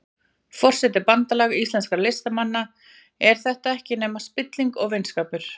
Forseti Bandalags íslenskra listamanna, er þetta ekkert nema spilling og vinskapur?